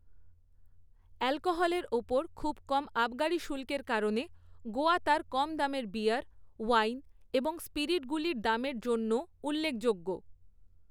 অ্যালকোহলের ওপর খুব কম আবগারি শুল্কের কারণে গোয়া তার কম দামের বিয়ার, ওয়াইন এবং স্পিরিটগুলির দামের জন্যও উল্লেখযোগ্য।